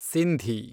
Sindhi